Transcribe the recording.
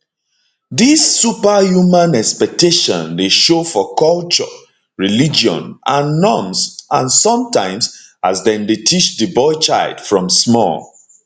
dis superhuman expectation dey show show for cultures religion and norms and sometimes as dem dey teach di boy child from small